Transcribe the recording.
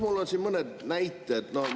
Mul on siin mõned näited.